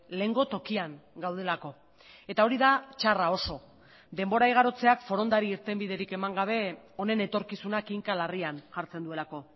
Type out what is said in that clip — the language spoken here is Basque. lehengo tokian gaudelako eta hori da txarra oso denbora igarotzeak forondari irtenbiderik eman gabe honen etorkizuna kinka larrian jartzen duelako